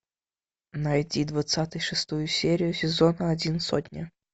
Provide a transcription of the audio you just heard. найти двадцатый шестую серию сезона один сотня